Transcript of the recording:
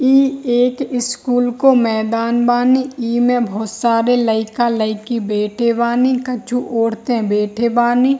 इ एक स्कूल को मैदान बानी | इ में बहुत सारे लइका लईकी बैठे बानी कछु औरते बैठे बानी |